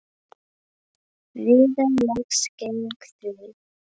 Viðar leggst gegn því.